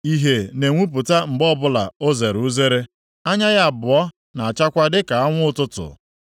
Ìhè na-enwupụta mgbe ọbụla o zere uzere; anya ya abụọ na-achakwa dịka anwụ ụtụtụ.